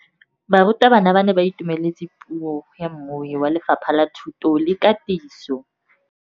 Barutabana ba ne ba itumeletse puô ya mmui wa Lefapha la Thuto le Katiso.